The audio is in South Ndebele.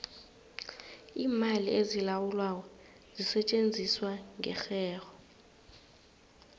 iimali ezilawulwako zisetjenziswa ngerherho